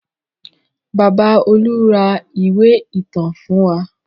Bàbá Olú ra ìwé ìtàn fún wa.